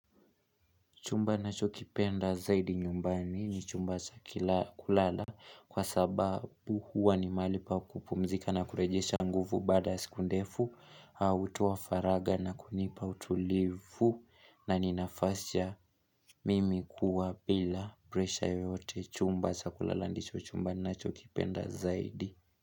Chumba nnachokipenda zaidi nyumbani ni chumba cha kulala kwa sababu huwa ni mahali pa kupumzika na kurejesha nguvu baada siku ndefu Hutuoa faraga na kunipa utulivu na ninafasi ya mimi kuwa bila presha yoyote chumba cha kulala ndicho chumba nnacho kipenda zaidi.